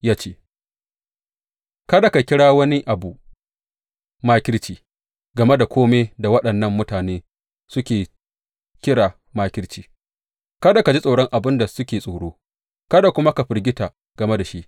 Ya ce, Kada ka kira wani abu makirci game da kome da waɗannan mutane suke kira makirci; kada ji tsoron abin da suke tsoro, kada kuma ka firgita game da shi.